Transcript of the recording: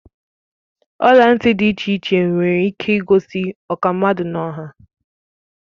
ọla ntị dị iche iche nwere ike igosi ọkwa mmadụ n'ọha